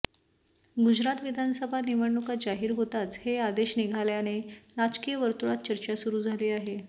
गुजरात विधानसभा निवडणुका जाहीर होताच हे आदेश निघाल्याने राजकीय वर्तुळात चर्चा सुरु झाली आहे